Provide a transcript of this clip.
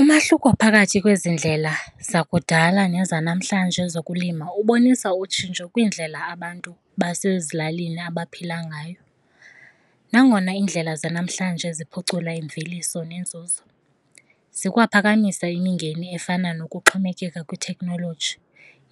Umahluko phakathi kwezi ndlela zakudala nezanamhlanje zokulima ubonisa utshintsho kwiindlela abantu basezilalini abaphila ngayo. Nangona iindlela zanamhlanje ziphucula imveliso nenzuzo zikwaphakamisa imingeni efana nokuxhomekeka kwithekhnoloji,